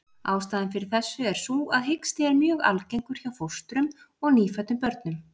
Ástæðan fyrir þessu er sú að hiksti er mjög algengur hjá fóstrum og nýfæddum börnum.